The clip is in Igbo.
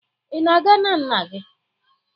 Ị na-aga na nna gị?